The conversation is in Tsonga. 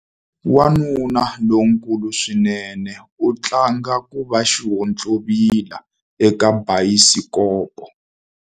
Wanuna lonkulu swinene u tlanga ku va xihontlovila eka bayisikopo.